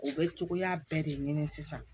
U bɛ cogoya bɛɛ de ɲini sisan